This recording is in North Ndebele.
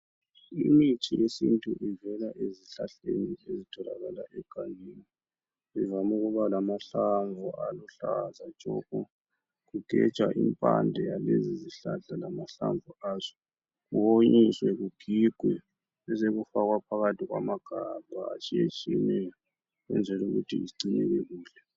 Imithi yesintu ivela ezihlahleni ezitholakala egangeni. Ivame ukuba lamahlamvu aluhlaza tshoko. Kugejwa impande yaezi zihlahla lamahlamvu azo kuhlanganiswe kugigwe besekufakwa phakathi kwamagabha atshiyetshiyeneyo ukwenzela ukuthi zigcineke kuhle.